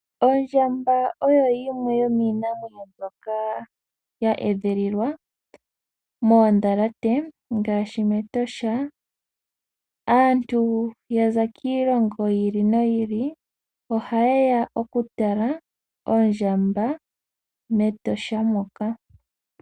Ondjamba oyo yimwe yomiinamwenyo mbyoka ya edhilililwa moondhalate ngaashi mEtosha. Aantu ya za kiilongo ya yooloka ohaye ya okutala oondjamba mEtosha.